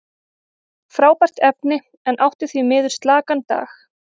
Frábært efni, en átti því miður slakan dag.